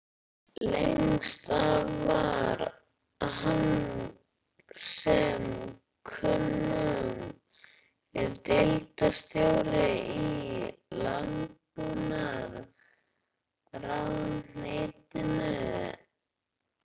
Lengst af var hann sem kunnugt er deildarstjóri í landbúnaðarráðuneytinu.